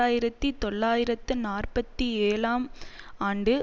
ஆயிரத்தி தொள்ளாயிரத்து நாற்பத்தி ஏழாம் ஆண்டு